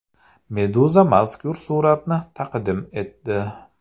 Meduza mazkur suratni taqdim etdi .